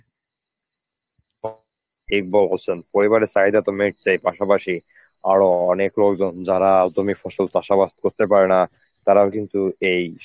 তো ঠিক বলেছেন পরিবারের চাহিদা তো মিটছেই পাশাপাশি আরো অনেক লোকজন যারা জমির ফসল চাষাবাদ করতে পারেনা তারাও কিন্তু এই